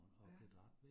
Ja